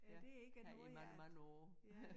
Ja har i mange mange år ja